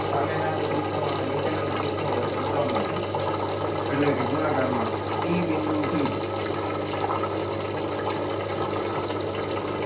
સામેના ચતુષ્કોણ અને નીચેના ચતુષ્કોણ વચ્ચેનું લંબ અંતર એટલે કે ગુણાકાર માં e બિંદુ થી